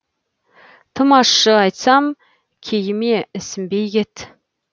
тым ашы айтсам кейіме ісінбей кет